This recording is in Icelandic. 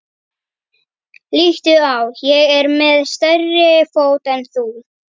Líttu á, ég er með stærri fót en þú.